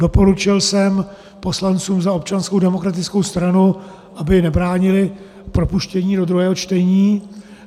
Doporučil jsem poslancům za Občanskou demokratickou stranu, aby nebránili propuštění do druhého čtení.